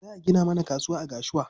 Za a gina mana kasuwa a Gashua.